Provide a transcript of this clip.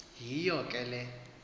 yiyo ke le